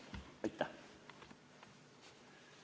Aitäh!